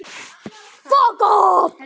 Hún skoraði sjö mörk.